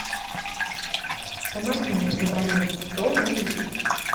помоги мне забронировать стол на вечер